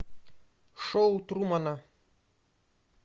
шоу трумана